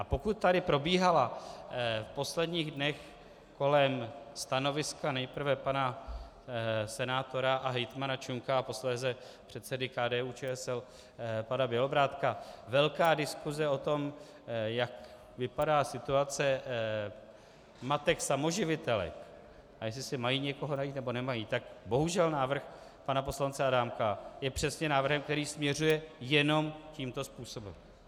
A pokud tady probíhala v posledních dnech kolem stanoviska nejprve pana senátora a hejtmana Čunka a posléze předsedy KDU-ČSL pana Bělobrádka velká diskuse o tom, jak vypadá situace matek samoživitelek a jestli si mají někoho najít, nebo nemají, tak bohužel návrh pana poslance Adámka je přesně návrhem, který směřuje jenom tímto způsobem.